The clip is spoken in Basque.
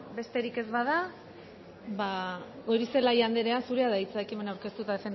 besterik ez bada goirizelaia anderea zurea da hitza ekimena aurkeztu eta